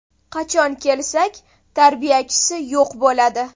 Qachon kelsak, tarbiyachisi yo‘q bo‘ladi.